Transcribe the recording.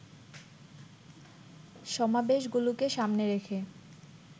সমাবেশগুলোকে সামনে রেখে